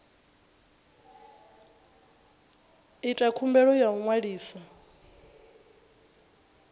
ita khumbelo ya u ṅwalisa